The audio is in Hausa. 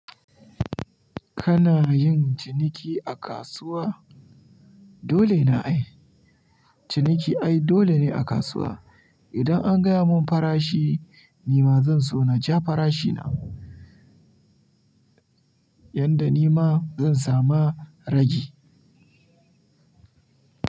Kana yin ciniki a kasuwa? Dole na ai. Ciniki ai dole ne a kasuwa. Idan an gaya mun farashi nima zan so na ja farashina yadda nima zan sama ragji.